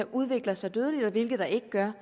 udvikler sig dødeligt og hvilke der ikke gør